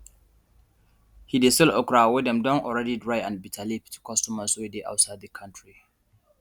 he de sell okra wey dem don dry already and bitterleaf to customers wey dey outside the country